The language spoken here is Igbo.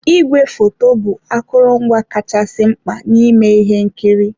Igwefoto bụ akụrụngwa kachasị mkpa n'ime ihe nkiri.